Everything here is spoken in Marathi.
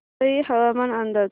वसई हवामान अंदाज